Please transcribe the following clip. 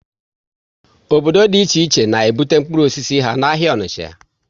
Obodo dị iche iche na ebute mkpụrụ osisi ha n' ahịa Onicha